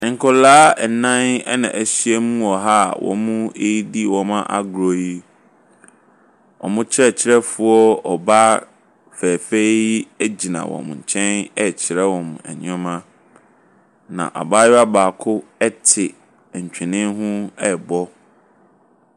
Nkwadaa nnan na ahyiam wɔ ha a wɔredi wɔn agorɔ yi. Wɔn kyerɛkyerɛfoɔ ɔbaa fɛɛfɛɛ yi gyina wɔn nkyɛn rekyerɛ wɔn nneɛma, na abayewa baako te ntwene ho rebɔ.